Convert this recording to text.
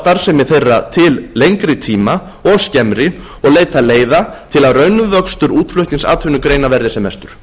starfsemi þeirra til lengri tíma og skemmri og leita leiða til að raunvöxtur útflutningsatvinnugreina verði sem mestur